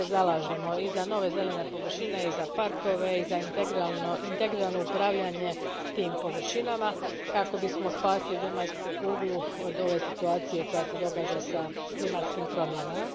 Svi se zalažemo i za nove zelene površine i za parkove i za integrirano upravljanje tim površinama kako bismo spasili zemaljsku kuglu od ove situacije koja se događa s klimatskim promjenama.